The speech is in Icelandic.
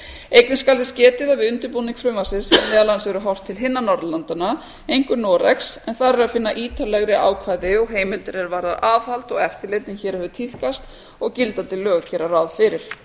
einnig skal þess getið að við undirbúning frumvarpsins hefur meðal annars verið horft til hinna norðurlandanna einkum noregs en þar er að finna ítarlegri ákvæði og heimildir er varða aðhald og eftirlit en hér hefur tíðkast og gildandi lög gera ráð fyrir